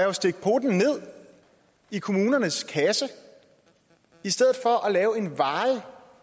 at stikke poten ned i kommunernes kasse i stedet for at lave en varig